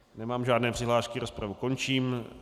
Nemám žádné přihlášky, rozpravu končím.